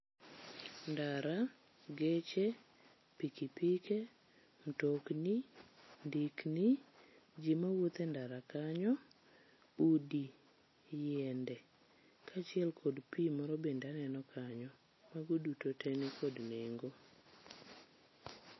Ndara ,geche, piki pike, mtokni, ndikni, jii mawuotho e ndara kanyo, udi ,yiende kachiel kod pii moro bende aneno kanyo. Mago duto nikod nengo.